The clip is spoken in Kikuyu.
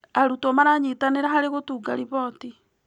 Arutwo maranyitanĩra harĩ gũtunga riboti.